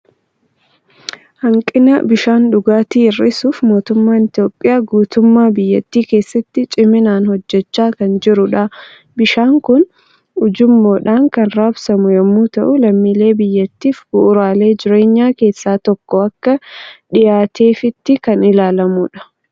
Hanqina bishaan dhugaatii hir'isuuf mootummaan Itoophiyaa guutummaa biyyattii keessatti ciminaan hojjechaa kan jirudha. Bishaan kun ujummoodhaan kan raabsamu yommuu ta'u, lammiilee biyyattiif bu'uuraalee jireenyaa keessaa tokko akka dhiyaateefiitti kan ilaalamudha.